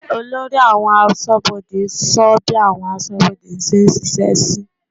Olórí àwọn aṣọ́bodè sọ bí àwọn aṣọ́bodè ṣe ń ṣiṣẹ́ sí.